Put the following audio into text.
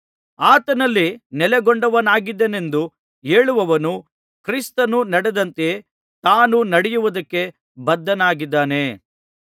ಆತನಲ್ಲಿ ನೆಲೆಗೊಂಡವನಾಗಿದ್ದೇನೆಂದು ಹೇಳುವವನು ಕ್ರಿಸ್ತನು ನಡೆದಂತೆಯೇ ತಾನೂ ನಡೆಯುವುದಕ್ಕೆ ಬದ್ಧನಾಗಿದ್ದಾನೆ